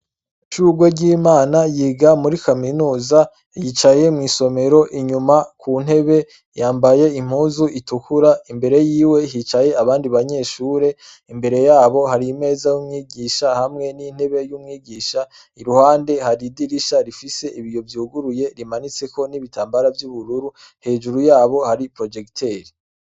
Ishurweryimana yiga muri kaminuza yicaye mu isomero inyuma ku ntebe yambaye impuzu itukura imbere y'iwe hicaye abandi banyeshure imbere yabo hari meza y'umwigisha hamwe n'intebe yumwigisha iruhande hari idirisha rifise ibiyo vyuguruye rimanitse ko n'ibitambara vy'ubururu hejuru yabo hari projekiteri.